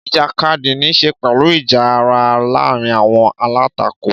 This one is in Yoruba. Ìjàkadì ní í ṣe pẹ̀lú ìjà ara láàárín àwọn alátakò.